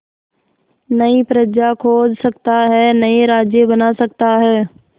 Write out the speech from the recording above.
नई प्रजा खोज सकता है नए राज्य बना सकता है